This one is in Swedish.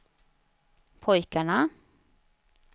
pojkarna